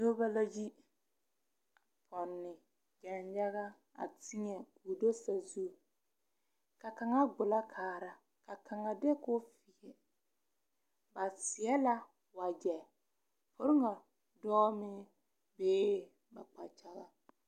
Noba la yi pɔnne danyaga a tēɛ a do sazu ka kaŋa gbolo kaara ka kaŋa de ko ba seɛ la wagyɛ poliga dɔɔ meŋ bee ba kpakyagaŋ.